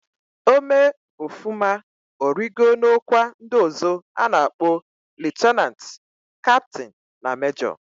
O mee ofuma, origo na okwa ndi ozo ana akpo lieutenant, captain na kwa major.